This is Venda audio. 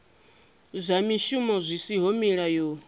zwa mishumo zwi siho mulayoni